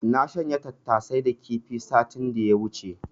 Na shanya tattasai da kifi satin da ya wuce.